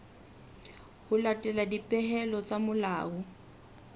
ho latela dipehelo tsa molao